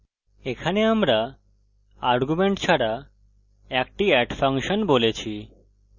এখানে আমরা arguments ছাড়া একটি add ফাংশন বলেছি